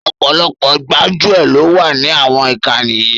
Ọ̀pọ̀lọpọ̀ gbájúẹ̀ lọ wà ní àwọn ìkànnì yìí